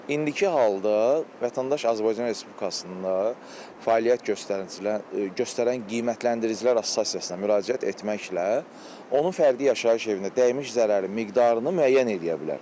İndiki halda vətəndaş Azərbaycan Respublikasında fəaliyyət göstərincilər göstərən qiymətləndiricilər Assosiasiyasına müraciət etməklə onun fərdi yaşayış evinə dəymiş zərərin miqdarını müəyyən eləyə bilər.